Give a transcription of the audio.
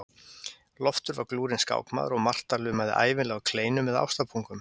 Loftur var glúrinn skákmaður og Marta lumaði ævinlega á kleinum eða ástarpungum.